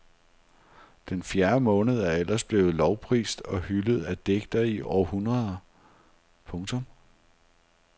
Den fjerde måned er ellers blevet lovprist og hyldet af digtere i århundreder. punktum